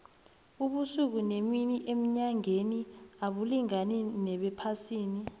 ubusuku nemini enyangeni abulingani nobephasini